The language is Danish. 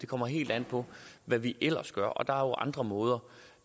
kommer helt an på hvad vi ellers gør og der er jo andre måder